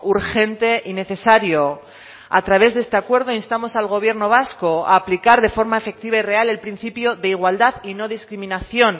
urgente y necesario a través de este acuerdo instamos al gobierno vasco a aplicar de forma efectiva y real el principio de igualdad y no discriminación